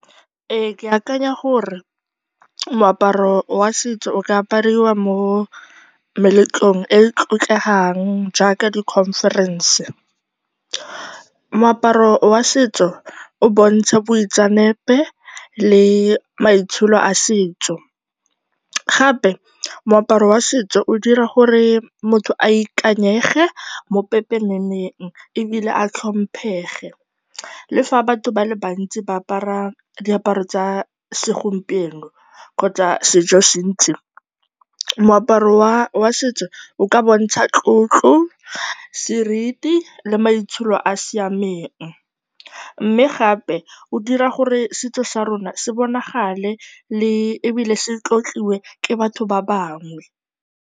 Ee, ke akanya gore moaparo wa setso o ka apariwa mo meletlong e e tlotlegang jaaka di-conference. Moaparo wa setso o bontsha boitseanape le maitsholo a setso. Gape, moaparo wa setso o dira gore motho a ikanyege mo pepeneneng ebile a tlhomphege. Le fa batho ba le bantsi ba apara diaparo tsa segompieno kgotsa sejosentsi, moaparo wa setso o ka bontsha tlotlo, seriti le maitsholo a a siamen. Mme gape, o dira gore setso sa rona se bonagale le, ebile se tlotliwe ke batho ba bangwe.